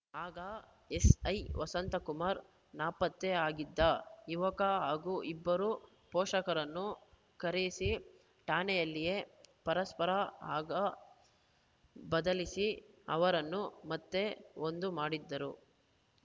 ಆಗ ಎಸ್‌ಐ ವಸಂತಕುಮಾರ್‌ ನಾಪತ್ತೆ ಆಗಿದ್ದ ಯುವಕ ಹಾಗೂ ಇಬ್ಬರ ಪೋಷಕರನ್ನು ಕರೆಸಿ ಠಾಣೆಯಲ್ಲಿಯೇ ಪರಸ್ಪರ ಹಾರ ಬದಲಿಸಿ ಅವರನ್ನು ಮತ್ತೆ ಒಂದು ಮಾಡಿದ್ದರು